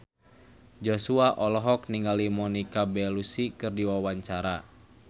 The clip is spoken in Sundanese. Joshua olohok ningali Monica Belluci keur diwawancara